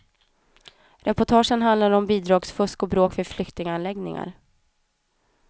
Reportagen handlar om bidragsfusk och bråk vid flyktinganläggningar.